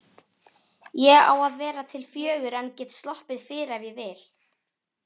Ég á að vera til fjögur en get sloppið fyrr ef ég vil.